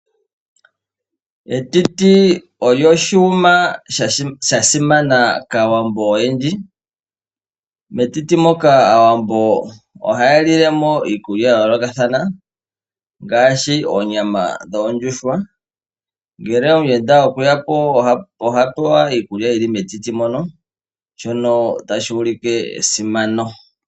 Etiti olyo oshiyuma sha simana kAawambo oyendji . Metiti moka Aawambo ohaya lile mo iikulya ya yoolokathana ngaashi oonyama dhoondjuhwa. Ngele omuyenda okweya po, oha pewa iikulya yili metiti mono shono tashi ulike esimano.